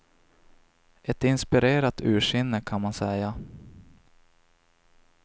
Ett inspirerat ursinne kan man säga.